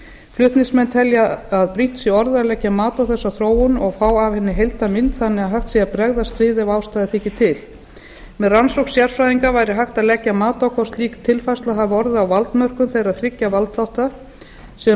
flutningsmenn telja að brýnt sé orðið að leggja mat á þessa þróun og fá af henni heildarmynd þannig að hægt sé að bregðast við ef ástæða þyki til með rannsókn sérfræðinga væri hægt að leggja mat á hvort slík tilfærsla hafi orðið á valdmörkum þeirra þriggja valdþátta sem